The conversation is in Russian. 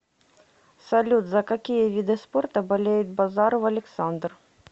салют за какие виды спорта болеет базаров александр